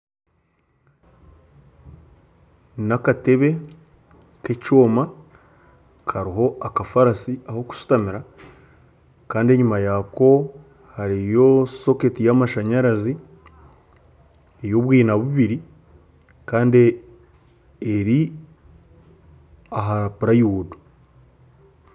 N'akatebe k'ekyoma kariho akafaarasi ah'okushutamira kandi enyima yaako hariyo soketi y'amashanyarazi, y'obwina bubiri kandi eri aha purayiwudu